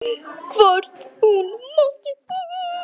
Hvort hún mátti!